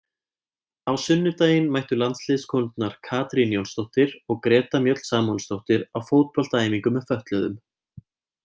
Á sunnudaginn mættu landsliðskonurnar Katrín Jónsdóttir og Greta Mjöll Samúelsdóttir á fótboltaæfingu með fötluðum.